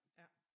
Ja